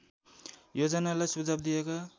योजनालाई सुझाव दिएका